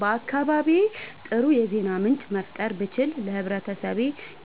በአካባቢዬ አጥሩ የዜና ምንጭ መፍጠር ብችል ለህብረተሰቤ